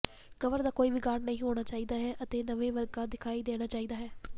cover ਦਾ ਕੋਈ ਵਿਗਾੜ ਨਹੀਂ ਹੋਣਾ ਚਾਹੀਦਾ ਹੈ ਅਤੇ ਨਵੇਂ ਵਰਗਾ ਦਿਖਾਈ ਦੇਣਾ ਚਾਹੀਦਾ ਹੈ